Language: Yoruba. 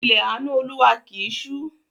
Ilẹ̀ àánú Olúwa kì í ṣú